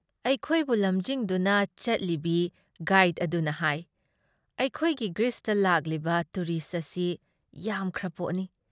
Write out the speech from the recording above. ꯑꯩꯈꯣꯏꯕꯨ ꯂꯝꯖꯤꯡꯗꯨꯅ ꯆꯠꯂꯤꯕꯤ ꯒꯥꯏꯗ ꯑꯗꯨꯅ ꯍꯥꯏ -"ꯑꯩꯈꯣꯏꯒꯤ ꯒ꯭ꯔꯤꯁꯇ ꯂꯥꯛꯂꯤꯕ ꯇꯨꯔꯤꯁ ꯑꯁꯤ ꯌꯥꯝꯈ꯭ꯔꯄꯣꯠꯅꯤ ꯫